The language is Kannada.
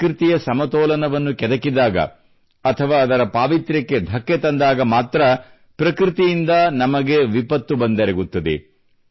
ಪ್ರಕೃತಿಯ ಸಮತೋಲನವನ್ನು ಕೆದಕಿದಾಗ ಅಥವಾ ಅದರ ಪಾವಿತ್ರ್ಯಕ್ಕೆ ಧಕ್ಕೆ ತಂದಾಗ ಮಾತ್ರ ಪ್ರಕೃತಿಯಿಂದ ನಮಗೆ ವಿಪತ್ತು ಬಂದೆರಗುತ್ತದೆ